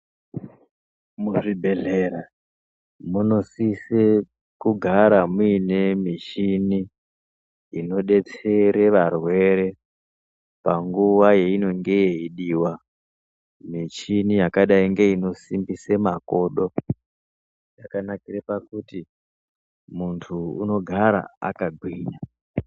Muzvibhedhlera muno sise kugara muine michini ino detsere varwere panguwa yeinonge yeidiwa. Michini yakadai ngeinosimbise makodo, yakanakire pakuti muntu unogara akagwinya.